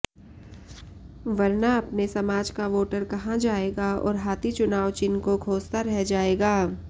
वरना अपने समाज का वोटर वहां जाएगा और हाथी चुनाव चिह्न को खोजता रह जाएगा